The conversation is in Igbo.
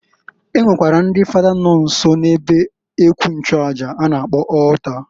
E nwekwara ndị Fada nọ nso na ebe ekwu nchuaja a na-akpọ altar.